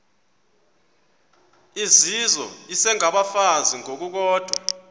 izizwe isengabafazi ngokukodwa